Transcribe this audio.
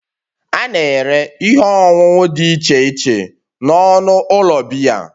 A na-ere ihe ọṅụṅụ dị iche iche n'ọnụ ụlọ biya